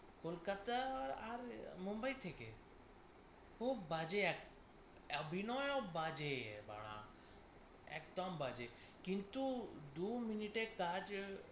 কলকাতা আর মুম্বাই থেকে খুব বাজে এক আ~ বিনয়ও বাজে বাড়া, একদম বাজে। কিন্তু দু minute এ কাজ